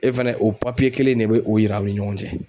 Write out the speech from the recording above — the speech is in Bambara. E fɛnɛ o kelen in ne be o yira aw ni ɲɔgɔn cɛ.